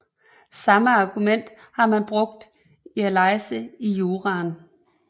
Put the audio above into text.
Samme argument har man brugt i Alaise i Jura